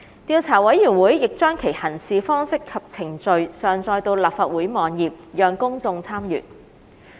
調査委員會亦將其《行事方式及程序》上載到立法會網頁，讓公眾參閱。